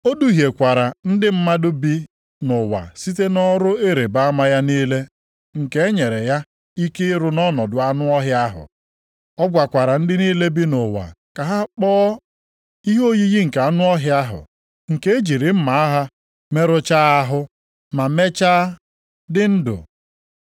O duhiekwara ndị mmadụ bi nʼụwa site nʼọrụ ịrịbama ya niile nke e nyere ya ike ịrụ nʼọnọdụ anụ ọhịa ahụ. Ọ gwakwara ndị niile bi nʼụwa ka ha kpụọ ihe oyiyi nke anụ ọhịa ahụ nke e jiri mma agha merụchaa ahụ, ma mechaa dị ndụ.